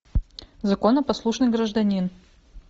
законопослушный гражданин